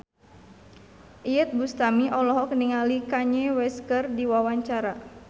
Iyeth Bustami olohok ningali Kanye West keur diwawancara